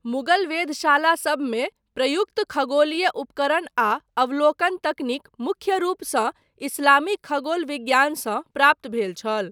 मुगल वेधशाला सबमे प्रयुक्त खगोलीय उपकरण आ अवलोकन तकनीक मुख्य रूपसँ इस्लामी खगोल विज्ञानसँ प्राप्त भेल छल।